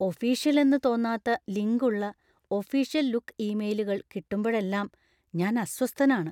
Official എന്ന് തോന്നാത്ത link ഉള്ള ഒഫീഷ്യൽ ലുക്ക് ഇമെയിലുകൾ കിട്ടുമ്പഴെല്ലാം ഞാൻ അസ്വസ്ഥനാണ്.